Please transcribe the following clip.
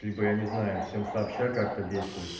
либо я не знаю всем сообща как-то действовать